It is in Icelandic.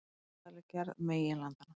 Jarðfræðileg gerð meginlandanna.